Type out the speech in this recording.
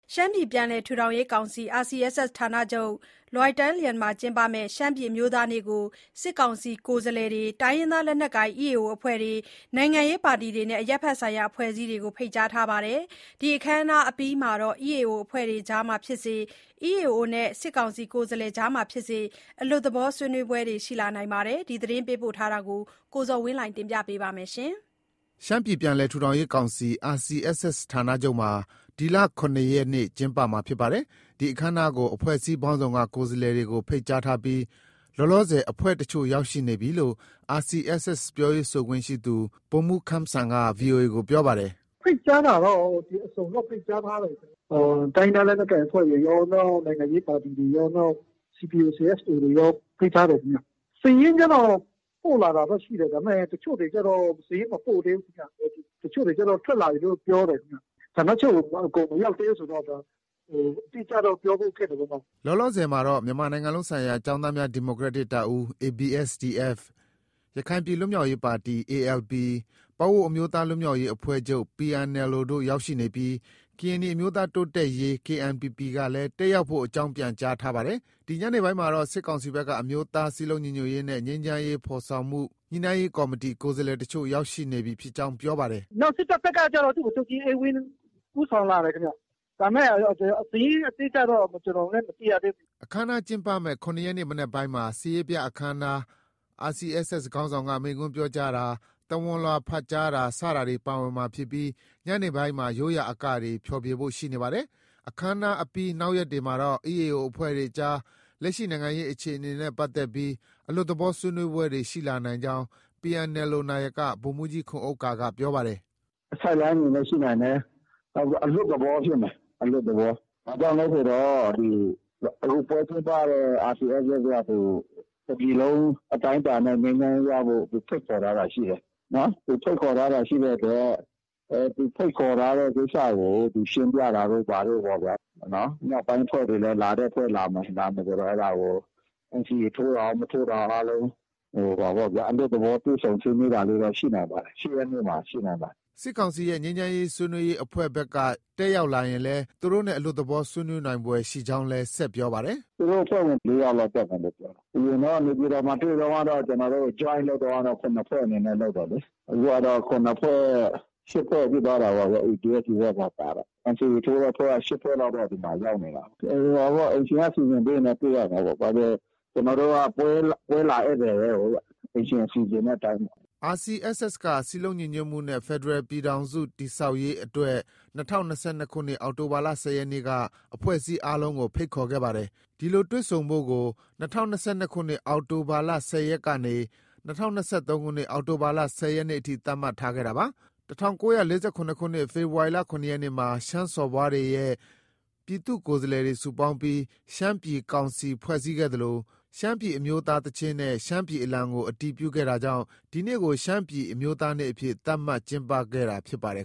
ရှမ်းပြည်ပြန်လည်ထူထောင်ရေးကောင်စီ RCSS ဌာနချုပ် လွယ်တိုင်းလျဲန်မှာကျင်းပမယ့် ရှမ်းပြည်အမျိုးသားနေ့ကို စစ်ကောင်စီ ကိုယ်စားလှယ်တွေ၊ တိုင်းရင်းသား လက်နက်ကိုင် EAO အဖွဲ့တွေ၊ နိုင်ငံရေးပါတီတွေနဲ့ အရပ်ဘက်ဆိုင်ရာအဖွဲ့အစည်းတွေကို ဖိတ်ကြား ထားပါတယ်။ ဒီအခမ်းအနားအပြီးမှာတော့ EAO အဖွဲ့တွေအကြားမှာဖြစ်စေ၊ EAO တွေနဲ့ စစ်ကောင်စီကိုယ်စားလှယ်အကြားမှာ ဖြစ်စေ အလွတ်သဘောဆွေးနွေးပွဲတွေ ရှိလာနိုင်ပါတယ်။ ဒီသတင်းပေးပို့ချက်ကို ကိုဇော်ဝင်းလှိုင်က ပြောပြမှာပါ။ ၇၆ကြိမ်မြောက် ရှမ်းပြည်အမျိုးသားနေ့ကို ရှမ်းပြည်ပြန်လည် ထူထောင်ရေးကောင်စီ RCSS ဌာနချုပ် ဒီလ ၇ရက်နေ့မှာ ကျင်းပမှာဖြစ်ပါတယ်။ ဒီအခမ်းအနားကို အဖွဲ့အစည်းပေါင်းစုံက ကိုယ်စားလှယ်တွေ ကို ဖိတ်ကြားထားပြီး လောလောဆယ်အဖွဲ့တချို့ ရောက်ရှိနေပြီလို့ RCSS ပြောရေးဆိုခွင့်ရှိသူ ဗိုလ်မှူးခမ်းစံက ဗွီအိုအေကို ပြောပါတယ်။ “ ဖိတ်ကြားတာတော့ အစုံတော့ ဖိတ်ကြားထားတယ်။ တိုင်းရင်းသားလက်နက်ကိုင်အဖွဲ့တွေရော၊ နိုင်ငံရေးပါတီတွေရော၊ နောက် CBO, CSO တွေရော ဖိတ်ထားတယ်ခင်ဗျ။ စာရင်းကျတော့ ပို့လာတာတော့ ရှိတယ်။ ဒါပေမဲ့ တချို့တွေကျတော့ စာရင်းမပို့သေးဘူးခင်ဗျ။ တချို့တွေကျတော့ ထွက်လာပြီလို့တော့ ပြောတယ်။ ဌာနချုပ်ကို အကုန်မရောက်သေးဘူးဆိုတော့ အတိအကျတော့ ပြောဖို့ခက်တယ်လေ။” လောလောဆယ်မှာတော့ မြန်မာနိုင်ငံလုံးဆိုင်ရာကျောင်းသားများ ဒီမိုကရက်တစ်တပ်ဦး ABSDF၊ ရခိုင်ပြည်လွတ်မြောက်ရေးပါတီ ALP၊ ပအိုဝ်းအမျိုးသားလွတ်မြောက်ရေးအဖွဲ့ချုပ် PNLO တို့ ရောက်ရှိနေပြီး ကရင်နီအမျိုးသား တိုးတက်ရေး KNPP ကလည်း တက်ရောက်ဖို့ အကြောင်း ပြန်ကြားထားပါတယ်။ ဒီ ညနေပိုင်းမှာတော့ စစ်ကောင်စီဘက်က အမျိုးသားစည်းလုံးညီညွတ်ရေးနဲ့ ငြိမ်းချမ်းရေးဖော်ဆောင်မှု ညှိနှိုင်းရေးကော်မတီ ကိုယ်စားလှယ်အချို့ ရောက်ရှိနေပြီဖြစ်ကြောင်း ပြောပါတယ်။ “စစ်တပ်ဘက်ကကျတော့ ဒုဗိုလ်ချုပ်ကြီးအေးဝင်း ဦးဆောင်လာတယ်ခင်ဗျ။ စာရင်းအတိအကျတော့ ကျနော်လည်း မသိရသေးဘူး။ ” အခမ်းအနားကျင်းပမယ့် ၇ရက်နေ့မနက်ပိုင်းမှာ စစ်ရေးပြအခမ်းအနား၊ RCSS ခေါင်းဆောင်က မိန့်ခွန်းပြောတာ၊ သဝဏ်လွှာဖတ်ကြားတာ စတာတွေ ပါဝင်မှာဖြစ်ပြီး ညနေပိုင်းမှာ ရိုးရာအကတွေ ဖြေဖျော်ဖို့ ရှိနေပါတယ်။ အခမ်းအနားအပြီးနောက်ရက်တွေမှာတော့ EAO အဖွဲ့တွေအကြား လက်ရှိနိုင်ငံရေးအခြေအနေနဲ့ပတ်သက်ပြီး အလွတ်သဘော ဆွေးနွေးပွဲတွေ ရှိလာနိုင်ကြောင်း PNLO နာယက ဗိုလ်မှူးကြီးခွန်ဥက္ကာက ပြောပါတယ်။ “ Sideline အနေနဲ့ ရှိနိုင်တယ်။ နောက်ပြီး အလွတ်သဘောဖြစ်မယ်။ အလွတ်သဘော။ ဘာကြောင့်လဲဆိုတော့ အခု ပွဲကျင်းပတဲ့ RCSS က သူ တစ်ပြည်လုံးအတိုင်းအတာနဲ့ ငြိမ်းချမ်းရေးရဖို့ သူဖိတ်ခေါ်ထားတာ ရှိတယ်။ သူဖိတ်ခေါ်ထားတာရှိတဲ့အတွက် သူဖိတ်ခေါ်ထားတဲ့ကိစ္စကို သူရှင်းပြတာတို့ ဘာတို့ပေါ့ဗျာ။ မြောက်ပိုင်းအဖွဲ့တွေလည်း လာတဲ့အဖွဲ့ လာမယ်ဆိုတော့ ဒါကို NCA ထိုးတာရော၊ မထိုးတာရော အားလုံး အလွတ်သဘော တွေ့ဆုံဆွေးနွေးတာလေးတော့ ရှိနိုင်ပါတယ်။ ၈ ရက်နေ့မှာ ရှိနိုင်ပါတယ်။” စစ်ကောင်စီရဲ့ ငြိမ်းချမ်းရေးဆွေးနွေးရေးအဖွဲ့ဘက်ကတက်ရောက်လာရင်လည်း သူတို့နဲ့ အလွတ်သဘော ဆွေးနွေးနိုင်ဖွယ်ရှိကြောင်းလည်း ဆက်ပြောပါတယ်။ “ သူတို့ အဖွဲ့ဝင် ၄ယောက်လောက် တက်မယ်လို့ ပြောတယ်။ အရင်တုံးက နေပြည်တော်မှာ တွေ့တုံးကတော့ ကျနော်တို့ Joint လုပ်တုံးကတော့ ၇ဖွဲ့အနေနဲ့ လုပ်တယ်လေ။ အခုကတော့ ၈ဖွဲ့ဖြစ်သွားတာပေါ့ဗျာ။ ABSDF ပါ ပါတော့။ NCA ထိုးတဲ့အဖွဲ့က ၈ဖွဲ့လောက်တော့ ဒီမှာ ရောက်နေတာကိုး။ အိမ်ရှင်က စီစဉ်ပေးရင်တော့ တွေ့ရမှာပေါ့။ ကျနော်တို့က ပွဲလာ ဧည့်သည်ပဲကိုးဗျ။ အိမ်ရှင်စီစဉ်တဲ့အတိုင်းပေါ့။” RCSS က စည်းလုံးညီညွတ်မှုနဲ့ ဖက်ဒရယ်ပြည်ထောင်စုတည်ဆောက်ရေး အတွက် ၂၀၂၂ခုနှစ် အောက်တိုဘာလ ၁၀ရက်နေ့က အဖွဲ့အစည်းအားလုံးကို ဖိတ်ခေါ်ခဲ့ပါတယ်။ ဒီလိုတွေ့ဆုံဖို့ကို ၂၀၂၂ခုနှစ် အောက်တိုဘာလ ၁၀ရက်နေ့ကနေ ၂၀၂၃ခုနှစ် ဖေဖော်ဝါရီလ ၁၀နေ့အထိ ရက်သတ်မှတ်ထားခဲ့တာပါ။ ၁၉၄၇ခုနှစ် ဖေဖော်ဝါရီလ ၇ရက်နေ့မှာ ရှမ်းစော်ဘွားတွေနဲ့ ပြည်သူ့ကိုယ်စားလှယ်တွေ စုပေါင်းပြီး ရှမ်းပြည်ကောင်စီဖွဲ့စည်းခဲ့သလို ရှမ်းပြည်အမျိုးသားသီချင်းနဲ့ ရှမ်းပြည်အလံကို အတည်ပြုခဲ့တာကြောင့် ဒီနေ့ကို ရှမ်းပြည်အမျိုးသားနေ့အဖြစ် သတ်မှတ် ကျင်းပခဲ့တာဖြစ်ပါတယ်